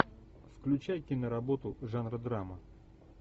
включай киноработу жанра драма